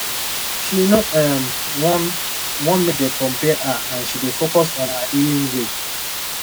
she no um wan wan make dem compare her and she dey focus on her own healing way